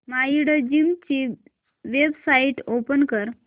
Mindgym ची website open कर